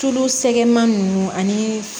Tulu sɛgman nunnu ani